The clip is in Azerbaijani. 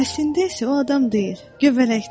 Əslində isə o adam deyil, göbələkdir.